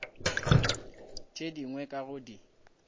tše dingwe ka go di